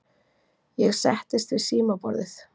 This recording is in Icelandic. Ég settist við símaborðið.